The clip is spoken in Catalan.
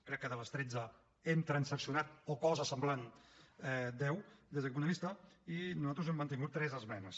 crec que de les tretze n’hem transaccionat o alguna cosa semblant deu des d’aquest punt de vista i nosaltres hem mantingut tres esmenes